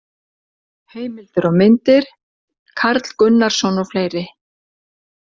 Heimildir og myndir: Karl Gunnarsson og fleiri.